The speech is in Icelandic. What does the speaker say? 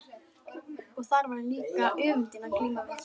Og þar var líka öfundin að glíma við.